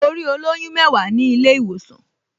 Mo rí olóyún mẹ́wàá ní ilé-ìwòsàn